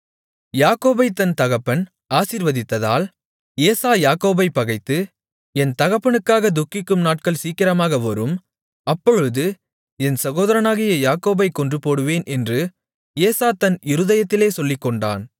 யாக்கோபைத் தன் தகப்பன் ஆசீர்வதித்ததால் ஏசா யாக்கோபைப் பகைத்து என் தகப்பனுக்காகத் துக்கிக்கும் நாட்கள் சீக்கிரமாக வரும் அப்பொழுது என் சகோதரனாகிய யாக்கோபைக் கொன்றுபோடுவேன் என்று ஏசா தன் இருதயத்திலே சொல்லிக்கொண்டான்